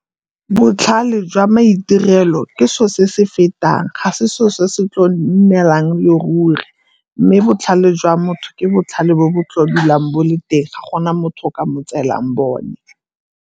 Botlhale jwa maitirelo ke selo se se fetang, ga se selo se tlo neelang e le ruri mme botlhale jwa motho ke botlhale bo bo dulang bo le teng, ga gona motho o ka mo tseelang bone.